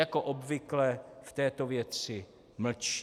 Jako obvykle v této věci mlčí.